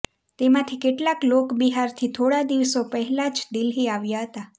તેમાથી કેટલાક લોક બિહારથી થોડા દિવસો પહેલા જ દિલ્હી આવ્યા હતા